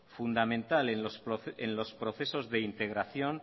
fundamental en los procesos de integración